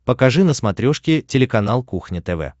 покажи на смотрешке телеканал кухня тв